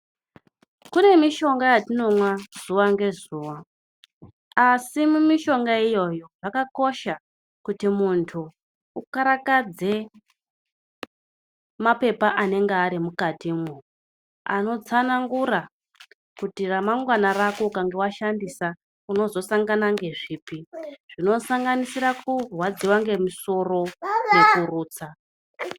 Kune mishonga yatinomwiwa zuva ngezuva asi zvakakoshawo kuti andu akarakadze mapepa anege arimomukati mwo ,anotsanangura kuti ramangwana rako kana washandisa unozosangana nezvipi zvinosanganisira kurwadziwa nemusoro nekurutsa.